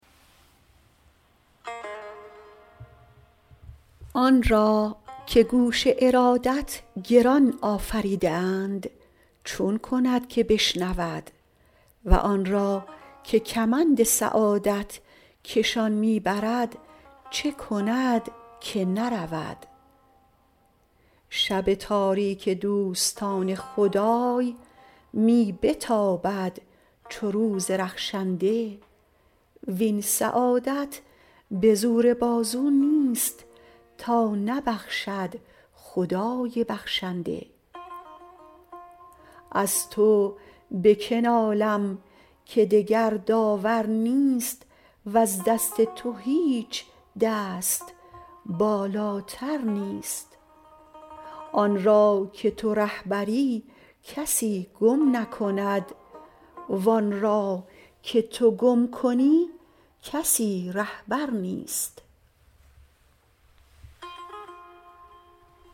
آن را که گوش ارادت گران آفریده اند چون کند که بشنود و آن را که کمند سعادت کشان می برد چه کند که نرود شب تاریک دوستان خدای می بتابد چو روز رخشنده وین سعادت به زور بازو نیست تا نبخشد خدای بخشنده از تو به که نالم که دگر داور نیست وز دست تو هیچ دست بالاتر نیست آن را که تو رهبری کسی گم نکند وآن را که تو گم کنی کسی رهبر نیست